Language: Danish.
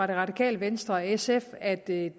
det radikale venstre og sf at det